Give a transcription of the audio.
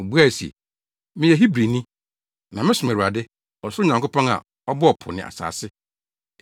Obuae se, “Meyɛ Hebrini, na mesom Awurade, ɔsoro Nyankopɔn a, ɔbɔɔ po ne asase.”